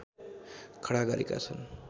खडा गरेका छन्